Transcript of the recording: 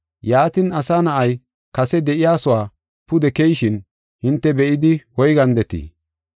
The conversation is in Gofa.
Yaatin, Asa Na7ay kase de7iyasuwa pude keyishin hinte be7idi woygandetii?